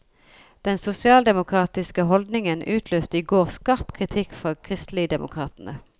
Den sosialdemokratiske holdningen utløste i går skarp kritikk fra kristeligdemokratene.